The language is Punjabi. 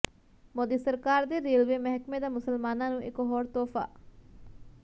ਮੋਦੀ ਸਰਕਾਰ ਦੇ ਰੇਲਵੇ ਮਹਿਕਮੇ ਦਾ ਮੁਸਲਮਾਨਾਂ ਨੂੰ ਇਕ ਹੋਰ ਤੋਹਫਾ